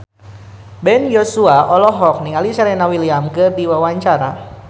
Ben Joshua olohok ningali Serena Williams keur diwawancara